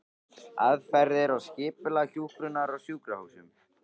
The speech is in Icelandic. Aðferðir og skipulag hjúkrunar á sjúkrahúsum